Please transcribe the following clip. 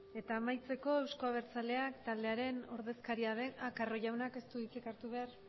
carro jaunak ez du hitzik hartu behar